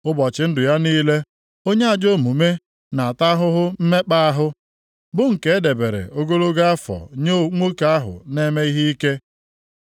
Ụbọchị ndụ ya niile, onye ajọ omume na-ata ahụhụ mmekpa ahụ, bụ nke e debere ogologo afọ nye nwoke ahụ na-eme ihe ike.